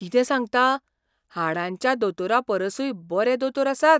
कितें सांगता? हाडांच्या दोतोरापरसूय बरे दोतोर आसात?